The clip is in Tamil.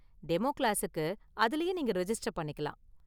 டெமோ கிளாஸுக்கு அதிலேயே நீங்க ரிஜிஸ்டர் பண்ணிக்கலாம்.